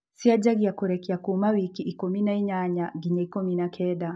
ciajagia kũrekia kuma wiki ikũmi na inyanaya nginya ikumi na kenda.